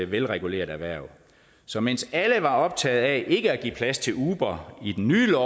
velreguleret erhverv så mens alle var optaget af ikke at give plads til uber i den nye